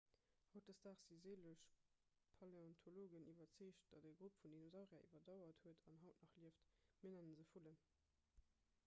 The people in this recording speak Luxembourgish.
hautdesdaags si sëlleg paläontologen iwwerzeegt datt e grupp vun dinosaurier iwwerdauert huet an haut nach lieft mir nenne se vullen